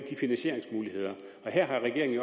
finansieringsmulighederne og her har regeringen